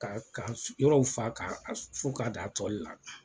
Ka ka yɔrɔw fa' fo k'a da tɔli la.